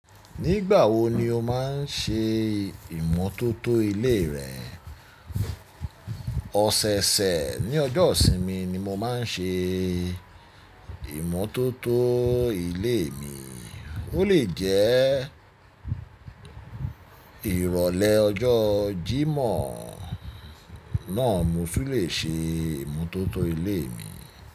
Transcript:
Nígbà wo ni o máà ń ṣe ìmotótó ilé rẹ? Ọ̀sẹ̀ẹ̀sẹ̀ ní ọjọ́ ìsinmi ni mo máa ń ṣe ìmotótó ilé mi, ó lè jẹ́ ìrọ̀lẹ́ ọjọ́ jímọ̀ náà mo sì lè ṣe ìmútótó ilé mi.